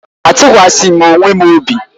Atụkwaghị m onwe m obi.